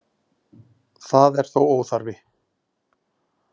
Það er þó óþarfi